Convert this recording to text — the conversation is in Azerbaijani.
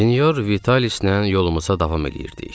Sinyor Vitalislə yolumuza davam eləyirdik.